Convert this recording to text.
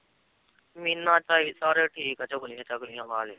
ਮੀਨਾ ਝਾਈ ਸਾਰੇ ਠੀਕ ਆ ਚੁਗਲੀਆਂ ਚਾਗਲੀਆਂ ਵਾਲੇ